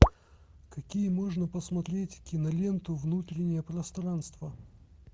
какие можно посмотреть киноленту внутреннее пространство